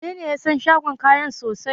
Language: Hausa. Wanene ya san shagon kayan sosai?